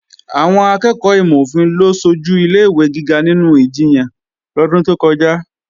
Àwọn akẹ́ẹ̀kọ́ ìmò-òfin ló sojù ilé-ìwé gíga nínú ìjiyàn lọ́dún tó kọjá